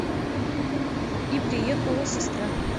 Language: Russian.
и приехала сестра